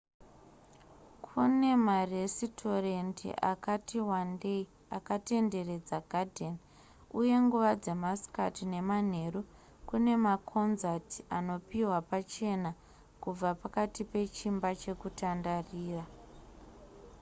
kune maresitorendi akati wandeyi akatenderedza gadheni uye nguva dzemasikati nemanheru kune makonzati anopihwa pachena kubva pakati pechimba chekutandarira